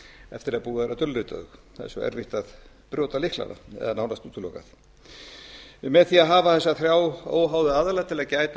eftir að búið er að dulrita þau það er svo erfitt að brjóta lyklana eða nánast útilokað með því að hafa þessa þrjá óháðu aðila til þess að gæta